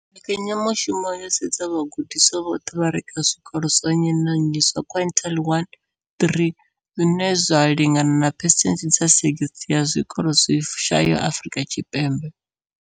Mbekanya mushumo yo sedza vhagudiswa vhoṱhe vha re kha zwikolo zwa nnyi na nnyi zwa quintile 1-3, zwine zwa lingana na phesenthe dza 60 ya zwikolo zwi shayaho Afrika Tshipembe.